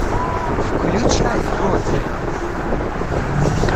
включай родина